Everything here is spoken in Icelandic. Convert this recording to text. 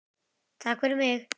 Takk fyrir mig!